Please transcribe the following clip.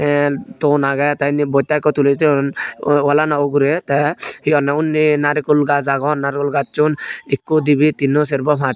tey ton agey tey indi botta ikko tuli toyon wo walani ugurey tey he honney unni naregul gaaj agon naregul gaajjun ikku dibey tinno serbo pas.